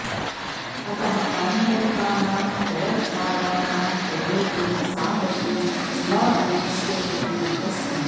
अतः आन्तरिकानां चलद्भागानां प्रयोगेन सा गतिः न अन्विष्यते एतस्मिन्